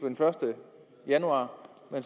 den første januar